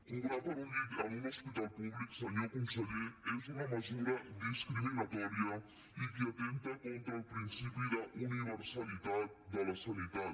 cobrar per un llit en un hospital públic senyor conseller és una mesura discriminatòria i que atempta contra el principi d’universalitat de la sanitat